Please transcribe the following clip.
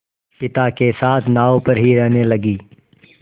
पिता के साथ नाव पर ही रहने लगी